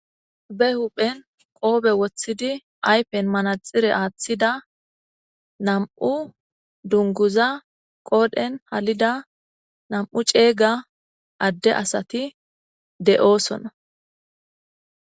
be huphen qoobe woththidi aypen manaxire aaththida nam7u dunguza qoodhen halida nam7u ceega adde asati de7oosona